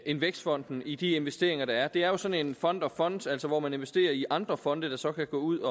end vækstfonden i de investeringer der er det er jo sådan en fund of funds altså hvor man investerer i andre fonde der så kan gå ud